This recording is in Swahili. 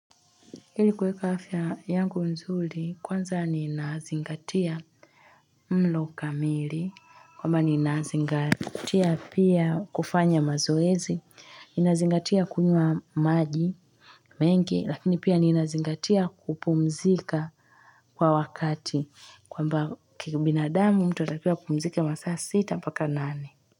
Ili kuweka afya yangu nzuri kwanza ninazingatia mlo kamili kwamba ninazingatia pia kufanya mazoezi. Inazingatia kunywa maji mengi lakini pia ninazingatia kupumzika kwa wakati kwamba kibinadamu mtu anatakiwa kupumzika masaa sita paka nani.